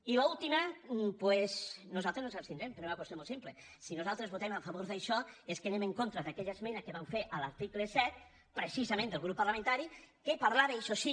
i a l’última doncs nosaltres ens abstindrem per una qüestió molt simple si nosaltres votem a favor d’això és que anem en contra d’aquella esmena que vam fer a l’article set precisament del grup parlamentari que par·lava això sí